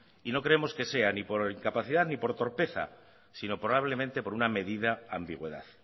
y no creemos que sea ni por incapacidad ni por torpeza sino probablemente por una medida ambigüedad